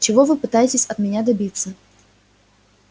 чего вы пытаетесь от меня добиться